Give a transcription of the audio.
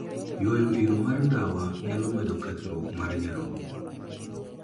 Ywayo iro mar ndawa nyalo medo kethruok mar nyarogo.